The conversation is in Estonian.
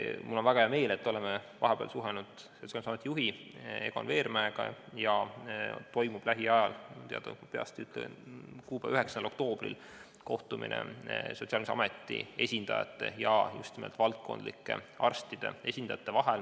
Mul on väga hea meel, et oleme vahepeal suhelnud Sotsiaalkindlustusameti juhi Egon Veermäega ning lähiajal – peast ütlen, 9. oktoobril – toimub kohtumine Sotsiaalkindlustusameti esindajate ja just nimelt valdkondlike arstide esindajate vahel.